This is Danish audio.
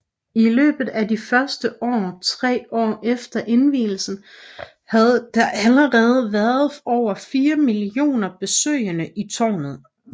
I løbet af de første tre år efter indvielsen havde der allerede været over fire millioner besøgende i tårnet